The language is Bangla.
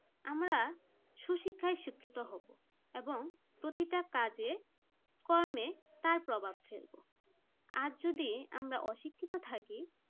আমরা সুশিক্ষায় শিক্ষিত হব এবং প্রতিটা কাজে প্রতিটা কর্মে তার প্রভাব ফেলবো আর যদি আমরা অশিক্ষিত থাকি